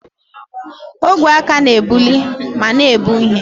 Ogwe aka na-ebuli ma na-ebu ihe.